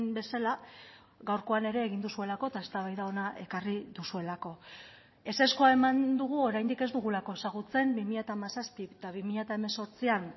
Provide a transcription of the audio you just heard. bezala gaurkoan ere egin duzuelako eta eztabaida hona ekarri duzuelako ezezkoa eman dugu oraindik ez dugulako ezagutzen bi mila hamazazpi eta bi mila hemezortzian